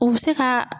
U bɛ se ka